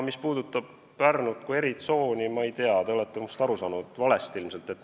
Mis puudutab Pärnut kui eritsooni, siis ma ei tea, te olete ilmselt minust valesti aru saanud.